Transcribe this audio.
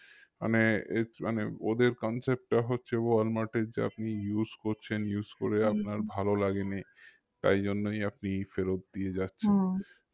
মানে মানে ওদের concept টা হচ্ছে ওয়ালমার্টের যা আপনি use করছেন use করে ভালো লাগেনি তাই জন্যই আপনি ফেরত দিয়ে